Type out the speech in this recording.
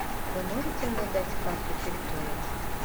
вы можете мне дать карту территории